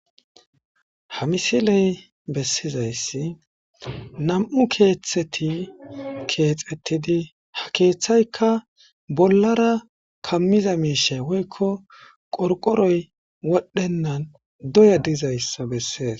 ha misiley bessizayssi nam7u keeththeti keexetidi ha keeththaykka bollara kammiza miishe woykko qorqoroy wodhennan doya dizayssa bessees